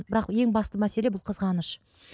бірақ ең басты мәселе бұл қызғаныш